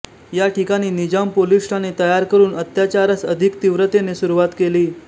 या ठिकाणी निजाम पोलिस ठाणे तयार करून अत्याचारास अधिक तिव्रतेने सुरूवात केली